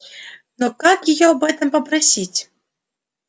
но как её об этом попросить